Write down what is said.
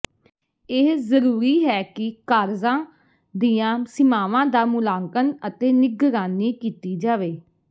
ਇਹ ਜ਼ਰੂਰੀ ਹੈ ਕਿ ਕਾਰਜਾਂ ਦੀਆਂ ਸੀਮਾਵਾਂ ਦਾ ਮੁਲਾਂਕਣ ਅਤੇ ਨਿਗਰਾਨੀ ਕੀਤੀ ਜਾਵੇ